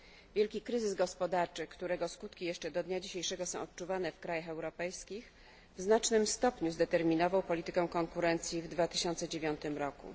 Wielki kryzys gospodarczy, którego skutki jeszcze do dnia dzisiejszego są odczuwane w krajach europejskich w znacznym stopniu zdeterminował politykę konkurencji w 2009 roku.